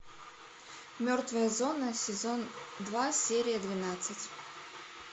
мертвая зона сезон два серия двенадцать